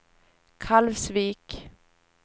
Kalvsvik